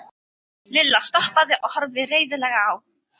Lilla stoppaði og horfði reiðilega á